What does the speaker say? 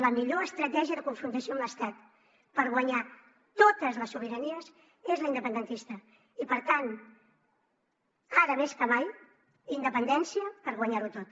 la millor estratègia de confrontació amb l’estat per guanyar totes les sobiranies és la independentista i per tant ara més que mai independència per guanyar ho tot